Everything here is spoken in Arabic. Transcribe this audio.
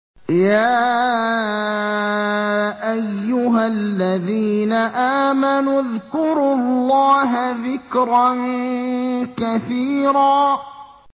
يَا أَيُّهَا الَّذِينَ آمَنُوا اذْكُرُوا اللَّهَ ذِكْرًا كَثِيرًا